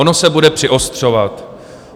Ono se bude přiostřovat.